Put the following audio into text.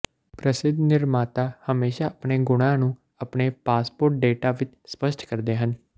ਪ੍ਰਸਿੱਧ ਨਿਰਮਾਤਾ ਹਮੇਸ਼ਾਂ ਆਪਣੇ ਗੁਣਾਂ ਨੂੰ ਆਪਣੇ ਪਾਸਪੋਰਟ ਡੇਟਾ ਵਿੱਚ ਸਪਸ਼ਟ ਕਰਦੇ ਹਨ